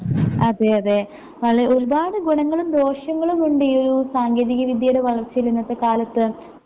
അതെയതെ വളെ ഒരുപാട് ഗുണങ്ങളും ദോഷങ്ങളുമുണ്ടീ യൊരു സാങ്കേതികവിദ്യയുടെ വളർച്ചയിൽ ഇന്നത്തെക്കാലത്ത്